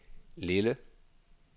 Lille